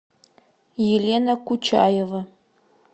елена кучаева